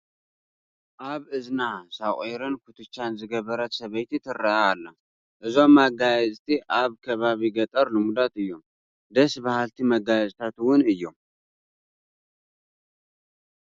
ኣብ እዝና ሶቒርን ኩትቻን ዝገበረት ሰበይቲ ትርአ ኣላ፡፡ እዞም መጋየፅቲ ኣብ ከባቢ ገጠር ልሙዳት እዮም፡፡ ደስ በሃልቲ መጋየፅታት እውን እዮም፡፡